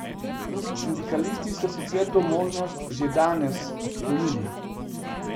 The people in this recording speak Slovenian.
Sindikalisti so sicer to možnost že danes odklonili.